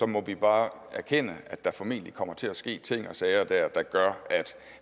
må vi bare erkende at der formentlig der kommer til at ske ting og sager der gør at